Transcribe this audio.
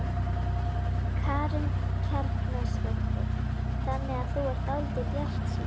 Karen Kjartansdóttir: Þannig að þú ert dálítið bjartsýn?